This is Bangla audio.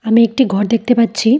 আমি একটি ঘর দেখতে পাচ্ছি।